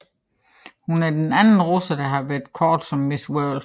Hun er den anden russer der har været kåret som Miss World